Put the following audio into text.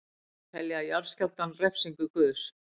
Telja jarðskjálftann refsingu guðs